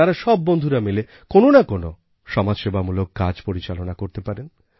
তাঁরা সব বন্ধুরা মিলে কোনো না কোনো সমাজসেবামূলক কাজ পরিচালনা করতে পারেন